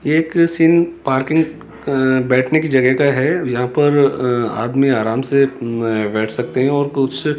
एक scene parking अं बैठने की जगह का है यहां पर अं आदमी आराम से अं बैठ सकते हैं और कुछ --